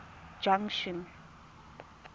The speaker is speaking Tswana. junction